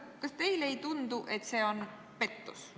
Kas teile ei tundu, et see on pettus?